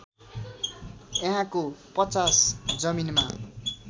यहाँको ५० जमीनमा